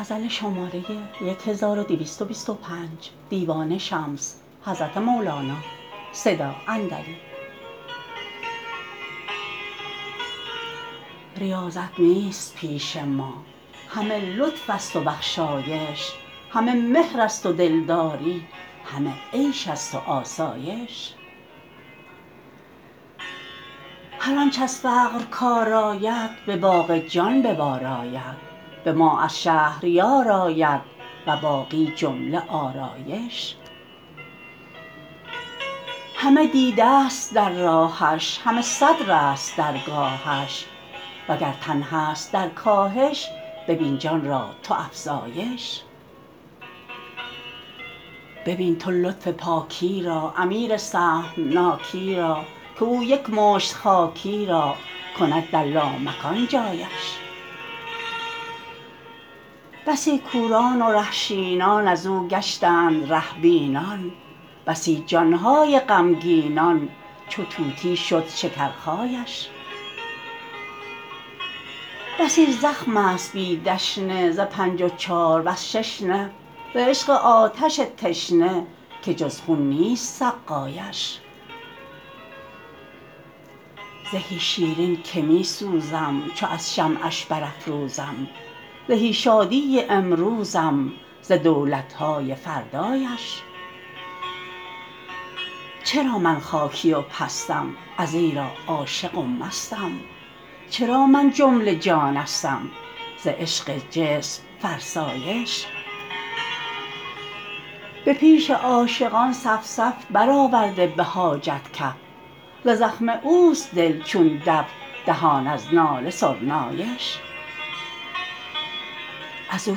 ریاضت نیست پیش ما همه لطفست و بخشایش همه مهرست و دلداری همه عیش است و آسایش هر آنچ از فقر کار آید به باغ جان به بار آید به ما از شهریار آید و باقی جمله آرایش همه دیدست در راهش همه صدرست درگاهش وگر تن هست در کاهش ببین جان را تو افزایش ببین تو لطف پاکی را امیر سهمناکی را که او یک مشت خاکی را کند در لامکان جایش بسی کوران و ره شینان از او گشتند ره بینان بسی جان های غمگینان چو طوطی شد شکرخایش بسی زخمست بی دشنه ز پنج و چار وز شش نه ز عشق آتش تشنه که جز خون نیست سقایش زهی شیرین که می سوزم چو از شمعش برافروزم زهی شادی امروزم ز دولت های فردایش چرا من خاکی و پستم ازیرا عاشق و مستم چرا من جمله جانستم ز عشق جسم فرسایش به پیش عاشقان صف صف برآورده به حاجب کف ز زخم اوست دل چون دف دهان از ناله سرنایش از او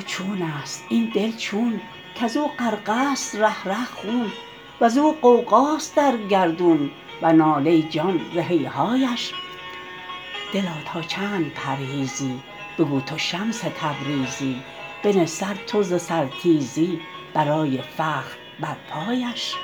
چونست این دل چون کز او غرقست ره ره خون وز او غوغاست در گردون و ناله جان ز هیهایش دلا تا چند پرهیزی بگو تو شمس تبریزی بنه سر تو ز سرتیزی برای فخر بر پایش